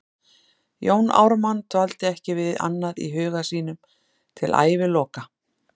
Jón Ármann dvaldi ekki við annað í huga sínum til æviloka.